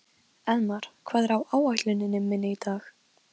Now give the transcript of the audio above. Elmar, hvað er á áætluninni minni í dag?